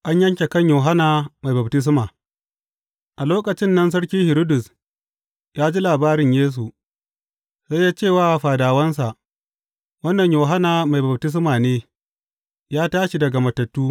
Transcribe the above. An yanke kan Yohanna Mai Baftisma A lokacin nan sarki Hiridus ya ji labarin Yesu, sai ya ce wa fadawansa, Wannan Yohanna Mai Baftisma ne; ya tashi daga matattu!